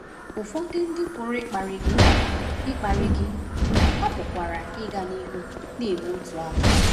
Ụfọdụ ndị pụrụ ‘ịkparị gị,’ ‘ịkparị gị,’ ha pụkwara ịga n’ihu na-eme otú ahụ.